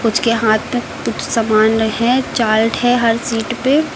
उसके हाथ में कुछ सामान रखे हैं चार्ट है हर सीट पे।